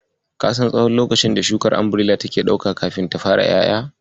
Ka san tsahon lokacin da shukar Umbirela take ɗauka kafin ta fara ƴaƴa?